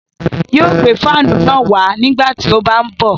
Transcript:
Yóò gbé fáànù náà wá nígbà tí ó bá ń bọ̀